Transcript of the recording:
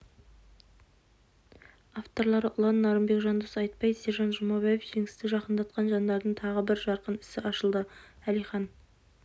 авторлары ұлан нарынбек жандос айтбай сержан жұмабаев жеңісті жақындатқан жандардың тағы бір жарқын ісі ашылды әлихан